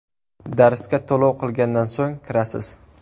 Darsga to‘lov qilgandan so‘ng kirasiz.